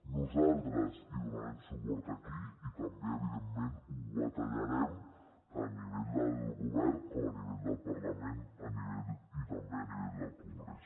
nosaltres hi donarem suport aquí i també evidentment hi batallarem tant a nivell del govern com a nivell del parlament i també a nivell del congrés